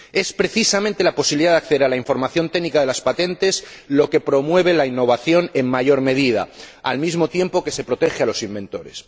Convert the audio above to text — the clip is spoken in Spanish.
Es precisamente la posibilidad de acceder a la información técnica de las patentes lo que promueve la innovación en mayor medida, al mismo tiempo que se protege a los inventores.